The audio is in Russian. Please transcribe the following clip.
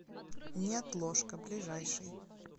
неотложка ближайший